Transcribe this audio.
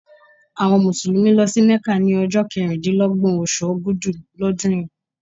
Àwọn Mùsùlùmí lọ sí Mecca ni ọjọ́ keríndínlọ́gbọ̀n oṣù Ògudù ọdún yìí.